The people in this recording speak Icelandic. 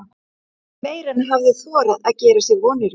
Meira en hann hafði þorað að gera sér vonir um.